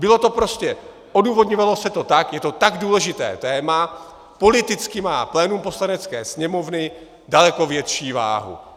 Bylo to prostě, odůvodňovalo se to tak, je to tak důležité téma, politicky má plénum Poslanecké sněmovny daleko větší váhu.